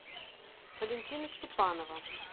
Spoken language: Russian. валентина степанова